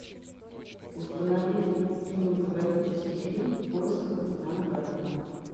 установи кинематографический фильм в поисках капитана гранта